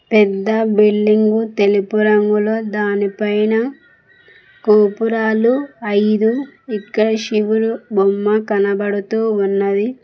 పెద్ద బిల్డింగు తెలుపు రంగులో దానిపైన గోపురాలు ఐదు ఇంకా శివుడు బొమ్మ కనబడుతూ ఉన్నది.